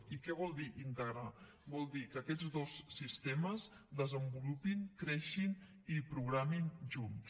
i què vol dir integrar vol dir que aquests dos sistemes desenvolupin creixin i programin junts